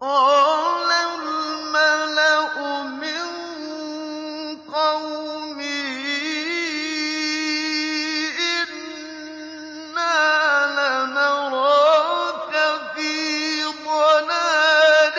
قَالَ الْمَلَأُ مِن قَوْمِهِ إِنَّا لَنَرَاكَ فِي ضَلَالٍ